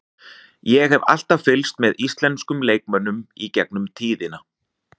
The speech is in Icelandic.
Ég hef alltaf fylgst með íslenskum leikmönnum í gegnum tíðina.